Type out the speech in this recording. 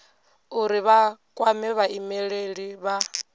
uri vha kwame vhaimeleli vha